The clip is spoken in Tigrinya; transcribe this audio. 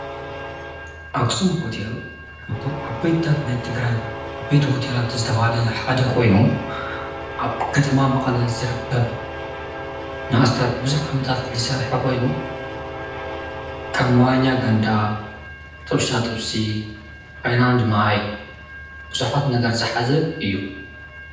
ኣግስም ዎቴል ከብቶም ኣ ቤይታት ናይ ትግራይ ኣቤይት ዎቴላ ትዘተባለ ሓደ ኾይኑ ኣብ ከጥማ መቕለ ዘርቀብ ንእስታት ብዙኅ ዓመታት ልሠርሐ ኾይኑ ከም ዋኛ ገንዳ ጥብሳ ጥሢ ኃይናንድ ማይ ብዙኃት ነገር ዝኃዚ እዩ።